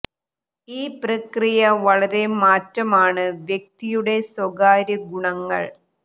ഈ പ്രക്രിയ വളരെ മാറ്റം ആണ് വ്യക്തിയുടെ സ്വകാര്യ ഗുണങ്ങൾ